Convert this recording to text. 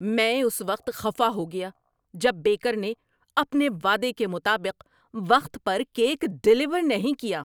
میں اس وقت خفا ہو گیا جب بیکر نے اپنے وعدے کے مطابق وقت پر کیک ڈیلیور نہیں کیا۔